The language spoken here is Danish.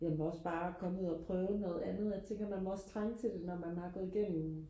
jamen også bare og komme ud og prøve noget andet jeg tænker man må også trænge til det når man har gået gennem